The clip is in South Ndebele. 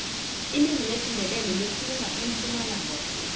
ilimi lesindebele likhulunywa empumalanga khulu